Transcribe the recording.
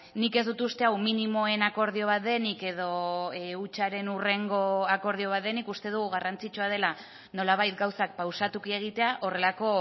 nik ez dut uste hau minimoen akordio bat denik edo hutsaren hurrengo akordio bat denik uste dugu garrantzitsua dela nolabait gauzak pausatuki egitea horrelako